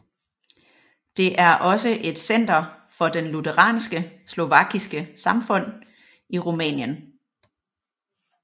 Det er også et center for den lutheranske slovakiske samfund i Rumænien